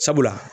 Sabula